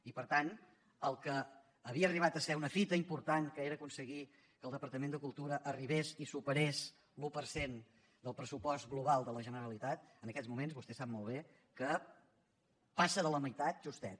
i per tant el que havia arribat a ser una fita important que era aconseguir que el departament de cultura arribés i superés l’un per cent del pressupost global de la generalitat en aquests moments vostè sap molt bé que passa de la meitat justet